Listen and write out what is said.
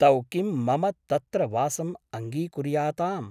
तौ किं मम तत्र वासम् अङ्गीकुर्याताम् ?